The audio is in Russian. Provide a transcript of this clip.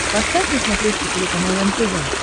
поставь на смотрешке телеканал нтв